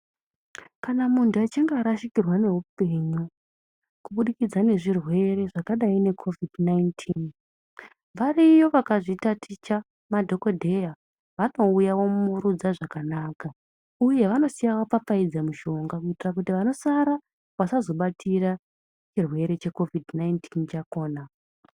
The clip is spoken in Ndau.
Kana muntu achinge arashikirwa noupenyu kubudikidza ngezvirwere zvakadai ne COVID-19 variyo vakazviita ticha madhokodheya vakauya vomuwurudza zvakanaka uye vanosiya vapfapfaidza mishonga kuita kuti vanosara vasazobatira chirwere che COVID-19 chakona